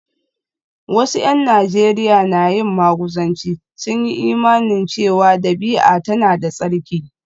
Wasu ’yan Najeriya na yin maguzanci, sun yi imanin cewa dabi’a tana da tsarki